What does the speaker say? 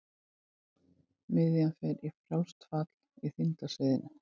Miðjan fer í frjálst fall í þyngdarsviðinu.